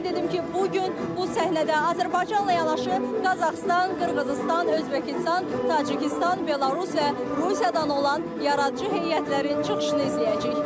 Qeyd edim ki, bu gün bu səhnədə Azərbaycanla yanaşı Qazaxıstan, Qırğızıstan, Özbəkistan, Tacikistan, Belarus və Rusiyadan olan yaradıcı heyətlərin çıxışını izləyəcəyik.